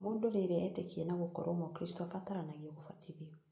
Mũndũ rĩrĩ etĩkia na gũkorwo mũkristo abataranagio gũbatithio